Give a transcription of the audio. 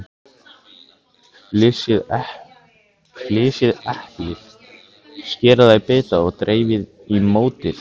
Flysjið eplið, skerið það í bita og dreifið í mótið.